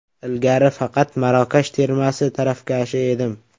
Ilgari faqat Marokash termasi tarafkashi edim.